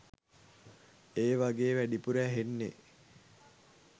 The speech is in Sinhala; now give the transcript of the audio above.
ඒවගේ වැඩිපුර ඇහෙන්නේ